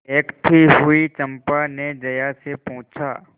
देखती हुई चंपा ने जया से पूछा